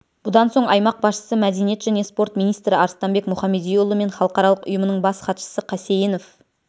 бұдан соң аймақ басшысы мәдениет және спорт министрі арыстанбек мұхамедиұлы мен халықаралық ұйымының бас хатшысы қасейінов